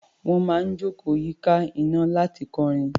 Wọ́n máa ń jókòó yíká iná láti kọrin.